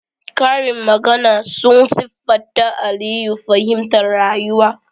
Karin magana sun siffata Aliyu fahimtar rayuwa